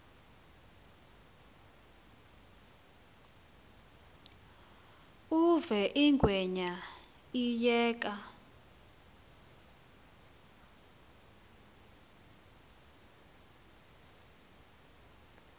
uve ingwenya iyeka